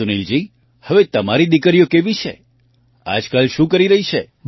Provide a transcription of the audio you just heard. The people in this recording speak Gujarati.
સુનિલજી હવે તમારી દીકરીઓ કેવી છે આજકાલ શું કરી રહી છે